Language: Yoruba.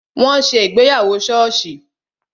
Wọn ṣe ìgbéyàwó soosi